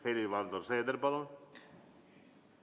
Helir-Valdor Seeder, palun!